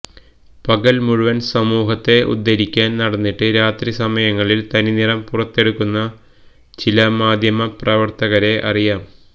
പകൽ മുഴുവൻ സമൂഹത്തെ ഉദ്ധരിക്കാൻ നടന്നിട്ട് രാത്രി സമയങ്ങളിൽ തനിനിറം പുറത്തെടുക്കുന്ന ചില മാധ്യമ പ്രവർത്തകരെ അറിയാം